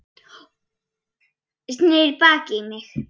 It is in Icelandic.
Sneri baki í mig.